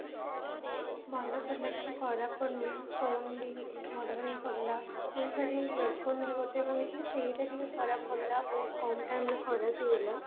ଭଲ ପଡିଲା କିଛି ଖରାପ ପଡିନି phone ବି ଭଲ ହିଁ ପଡିଲା ଆଉ ତାର ear phone ବି ଗୋଟେ ରହିଥିଲା ସେଇଟା ଟିକେ ଖରାପ ପଡିଲା ବହୁତ କମ time ରେ ଖରାପ ହେଇଗଲା